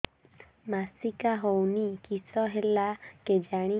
ମାସିକା ହଉନି କିଶ ହେଲା କେଜାଣି